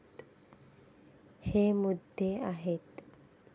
हे मुद्दे आहेत.